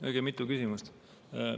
Õige mitu küsimust.